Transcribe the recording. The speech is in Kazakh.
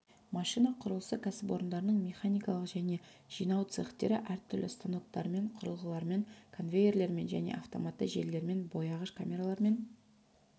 машина құрылысы кәсіпорнының механикалық және жинау цехтері әр түрлі станоктармен құрылғылармен конвейерлермен және автоматты желілермен бояғыш камералармен